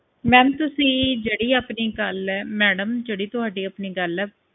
ma'am ਤੁਸੀਂ ਜਿਹੜੀ ਆਪਣੀ ਗੱਲ ਹੈ ਜਿਹੜੀ ਤੁਹਾਡੀ ਆਪਣੀ ਗੱਲ ਏ